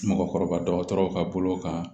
Mɔgɔkɔrɔba dɔgɔtɔrɔw ka bolo kan